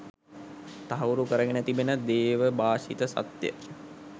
තහවුරු කරගෙන තිබෙන දේවභාෂිත සත්‍ය.